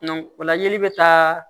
o la ɲeli bɛ taa